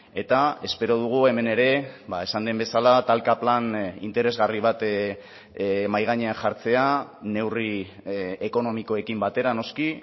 eta espero dugu hemen ere esan den bezala talka plan interesgarri bat mahai gainean jartzea neurri ekonomikoekin batera noski